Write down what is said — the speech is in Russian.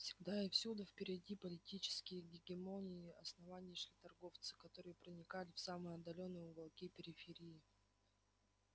всегда и всюду впереди политические гегемонии основания шли торговцы которые проникали в самые отдалённые уголки периферии